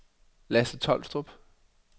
Lasse Tolstrup